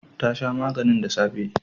Ta sha maganin da safe